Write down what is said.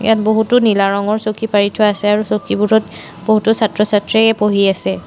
বহুতো নীলা ৰঙৰ চকী পাৰি থোৱা আছে আৰু চকীবোৰত বহুতো ছাত্ৰ ছাত্ৰীয়ে পঢ়ি আছে।